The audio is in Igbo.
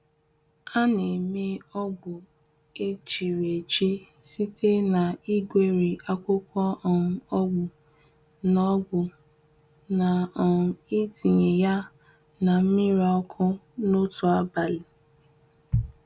A na-eme ogbu echiriechi site na igweri akwụkwọ um ogbu na ogbu na um ịtinye ya na mmiri ọkụ n'otu abalị.